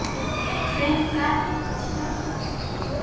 En hver gat hjálpað mér?